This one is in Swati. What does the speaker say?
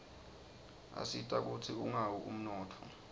asita kutsi ungawi umnotfo